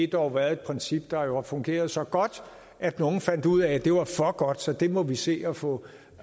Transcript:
dog været et princip der har fungeret så godt at nogle fandt ud af at det var for godt så det måtte de se at få